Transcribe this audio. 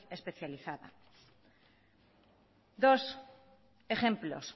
especializada dos ejemplos